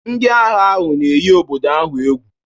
Ndị agha ahụ na-eyi obodo ahụ egwu